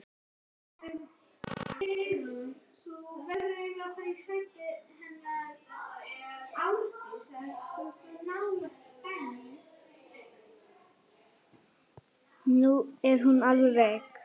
Nú er hún alveg veik.